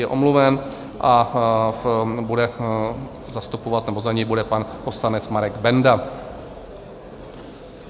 Je omluven a bude zastupovat nebo za něj bude pan poslanec Marek Benda.